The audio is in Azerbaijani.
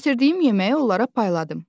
Gətirdiyim yeməyi onlara payladım.